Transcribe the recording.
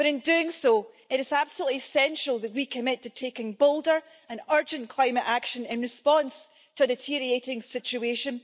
But in doing so, it is absolutely essential that we commit to taking bolder and urgent climate action in response to the deteriorating situation.